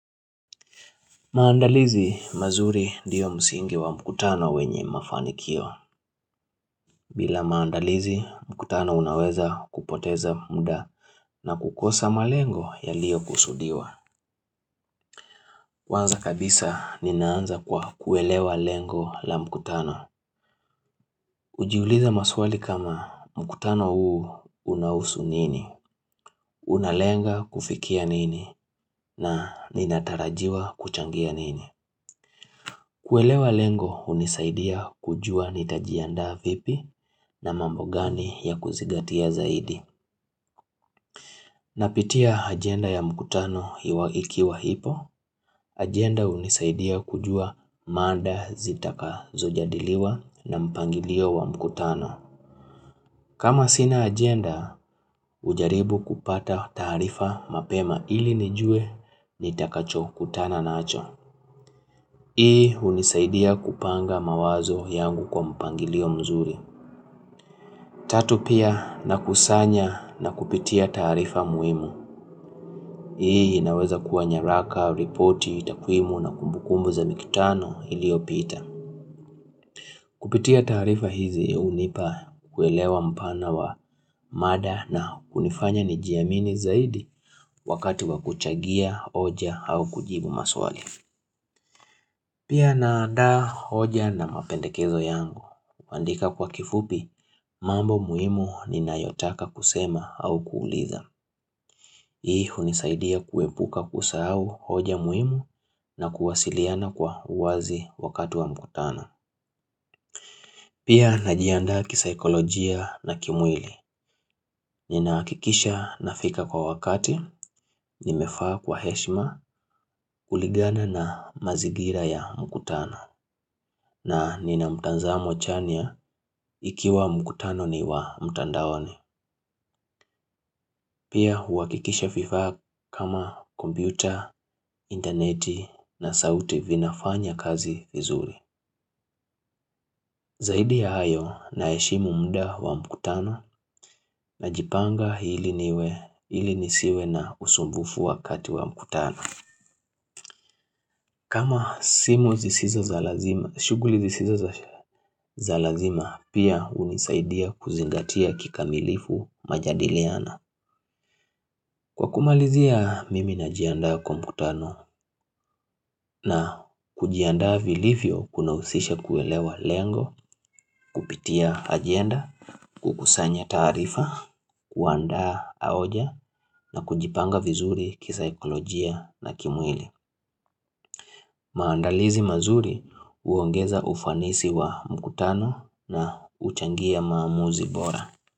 Maandalizi mazuri ndiyo msingi wa mkutano wenye mafanikio. Bila maandalizi, mkutano unaweza kupoteza muda na kukosa malengo ya liyo kusudiwa. Kwanza kabisa, ninaanza kwa kuelewa lengo la mkutano. Ujiuliza maswali kama mkutano huu unahusu nini? Unalenga kufikia nini? Na ninatarajiwa kuchangia nini? Kuelewa lengo unisaidia kujua nitajiandaa vipi na mambo gani ya kuzigatia zaidi. Napitia agenda ya mkutano hiwaiki wa hipo agenda unisaidia kujua mada zitaka zojadiliwa na mpangilio wa mkutano. Kama sina agenda ujaribu kupata taarifa mapema ili nijue nitakacho kutana nacho. Hii unisaidia kupanga mawazo yangu kwa mpangilio mzuri. Tatu pia na kusanya na kupitia taarifa muhimu. Hii inaweza kuwa nyaraka, ripoti, takwimu na kumbukumbu za mikutano iliopita. Kupitia taarifa hizi unipa kuelewa mpana wa mada na kunifanya ni jiamini zaidi wakati wa kuchagia oja au kujibu maswali. Pia na anda hoja na mapendekezo yangu. Kuandika kwa kifupi, mambo muhimu ni nayotaka kusema au kuuliza. Hii hunisaidia kuwepuka kusahau hoja muhimu na kuwasiliana kwa uwazi wakati wa mkutano. Pia na jiandaa kisaikolojia na kimwili. Ninahakikisha na fika kwa wakati, nimefaa kwa heshma kuligana na mazigira ya mkutano. Na nina mutanzamo chania ikiwa mkutano ni wa mtandaoni Pia huakikisha vifaa kama kompyuta, interneti na sauti vinafanya kazi vizuri Zaidi ya hayo na eshimu mda wa mkutano na jipanga hili niwe hili nisiwe na usumbufu wakati wa mkutano kama shuguli zisizo za lazima pia unisaidia kuzingatia kikamilifu majadiliana Kwa kumalizia mimi na jiandaa komputano na kujiandaa vilivyo kuna usisha kuelewa lengo, kupitia agenda, kukusanya taarifa, kuandaa aoja na kujipanga vizuri kisa ekolojia na kimwili maandalizi mazuri uongeza ufanisi wa mkutano na uchangia maamuzi bora.